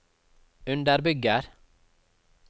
underbygger